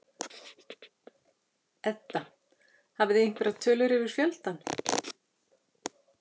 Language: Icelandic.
Edda: Hafið þið einhverjar tölur yfir fjöldann?